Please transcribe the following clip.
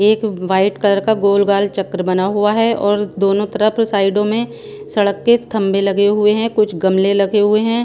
एक white colour का गोल गाल चक्र बना हुआ हैं और दोनों तरफ साइडों में सड़क के थंबे लगे हुए हैं कुछ गमले लगे हुए हैं।